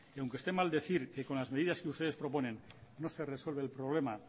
aunque esté mal decir que con las medidas que ustedes proponen no se resuelve el problema